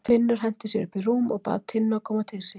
Finnur henti sér upp í rúm og bað Tinnu að koma til sín.